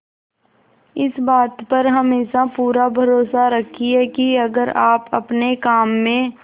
इस बात पर हमेशा पूरा भरोसा रखिये की अगर आप अपने काम में